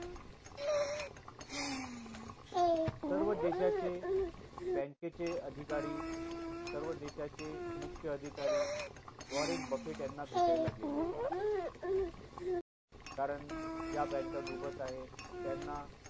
सर्व देशाचे bank चे अधिकारी सर्व देशाचे मुख्य अधिकारी वॉरंट बफेट यांना भेटला गेले होते कारण ज्या bank डुबत आहे त्यांना